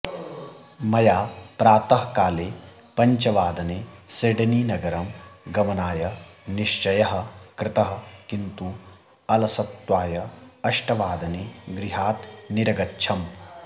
मया प्रातःकाले पञ्चवादने सिडनीनगरं गमनाय निश्चयः कृतः किन्तु अलसत्वाय अष्टवादने गृहात् निरगच्छम्